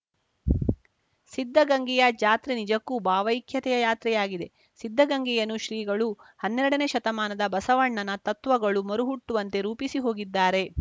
ಸಿದ್ಧಗಂಗೆಯ ಜಾತ್ರೆ ನಿಜಕ್ಕೂ ಭಾವೈಕ್ಯತೆಯ ಯಾತ್ರೆಯಾಗಿದೆ ಸಿದ್ಧಗಂಗೆಯನ್ನು ಶ್ರೀಗಳು ಹನ್ನೆರಡನೇ ಶತಮಾನದ ಬಸವಣ್ಣನ ತತ್ವಗಳು ಮರುಹುಟ್ಟುವಂತೆ ರೂಪಿಸಿ ಹೋಗಿದ್ದಾರೆ